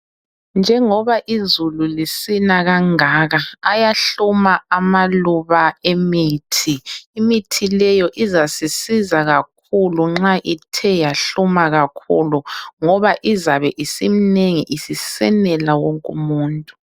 Njengoba izulu lisina kangaka. Ayahluma amaluba emithi. Imithi leyo izasisiza kakhulu nxa ithe yahluma kakhulu ngoba izabe isimnengi isisenela wonke umuntu.